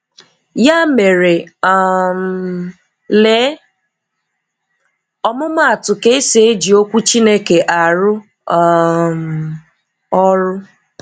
Ya mere, um lee ọmụmatụ ka esi eji okwu Chineke arụ um ọrụ.